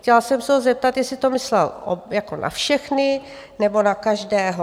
Chtěla jsem se ho zeptat, jestli to myslel jako na všechny, nebo na každého?